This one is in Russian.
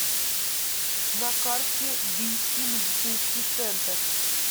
на карте бийский медицинский центр